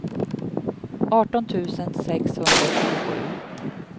arton tusen sexhundratjugosju